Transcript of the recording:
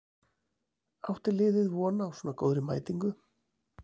Átti liðið von á svona góðri mætingu?